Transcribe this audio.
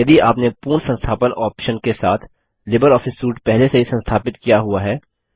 यदि आपने पूर्ण संस्थापन ऑप्शन के साथ लिबरऑफिस सूट पहले से ही संस्थापित किया हुआ है